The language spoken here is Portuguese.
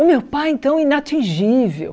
O meu pai, então, inatingível.